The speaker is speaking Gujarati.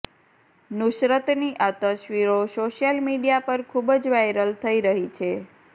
નુસરતની આ તસવીરો સોશિયલ મીડિયા પર ખૂબ જ વાયરલ થઇ રહી છે